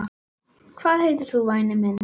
Hvað heitir þú væni minn?